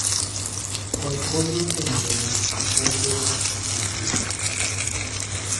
Koth konyo e medo nyak e puothe matindo